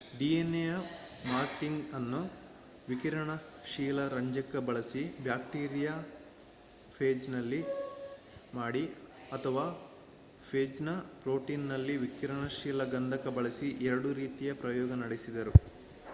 dnaಯ ಮಾರ್ಕಿಂಗ್‍‌ಅನ್ನು ವಿಕಿರಣಶೀಲ ರಂಜಕ ಬಳಸಿ ಬ್ಯಾಕ್ಟೀರಿಯಾಫೇಜ್‌ನಲ್ಲಿ ಮಾಡಿ ಅಥವಾ ಫೇಜ್‌ನ ಪ್ರೊಟೀನ್‍‌ನಲ್ಲಿ ವಿಕಿರಣಶೀಲ ಗಂಧಕ ಬಳಸಿ ಎರಡು ರೀತಿಯ ಪ್ರಯೋಗ ನಡೆಸಿದರು